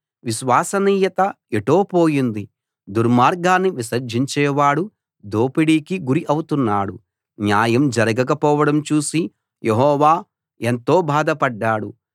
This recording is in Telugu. విశ్వసనీయత ఎటో పోయింది దుర్మార్గాన్ని విసర్జించేవాడు దోపిడీకి గురి అవుతున్నాడు న్యాయం జరగకపోవడం చూసి యెహోవా ఎంతో బాధపడ్డాడు